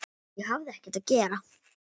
Ég hafði ekkert að gera.